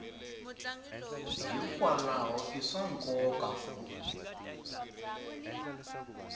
hikwalaho i swa nkoka ku